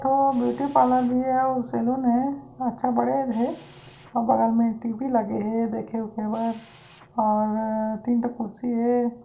एक ठो beauty parlour भी हेआउ सैलून हे अच्छा बड़े हे अउ बगल में टी. वी. लगे है देखे-उखे बर और तीन ठा कुर्सी हे।